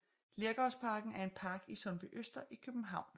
Lergravsparken er en park i Sundbyøster i København